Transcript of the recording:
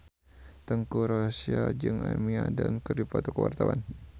Teuku Rassya jeung Amy Adams keur dipoto ku wartawan